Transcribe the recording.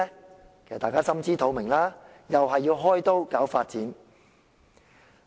大家其實也心知肚明，又是要被開刀搞發展。